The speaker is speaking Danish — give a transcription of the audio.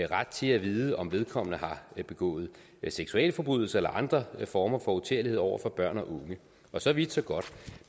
ret til at vide om vedkommende har begået seksualforbrydelser eller andre former for uterlighed over for børn og unge så vidt så godt